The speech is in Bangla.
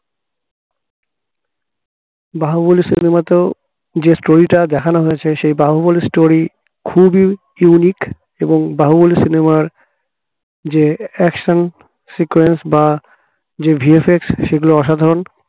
বাহুবলি cinema তেও যে story টা দেখানো হয়েছে সেই বাহুবলী story খুবই unique এবং বাহুবলী cinema র যে action sequence বা যে VFX সেগুলো অসাধারণ